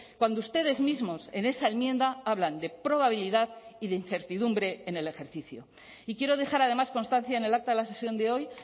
cuando ustedes mismos en esa enmienda hablan de probabilidad y de incertidumbre en el ejercicio y quiero dejar además constancia en el acta de la sesión de hoy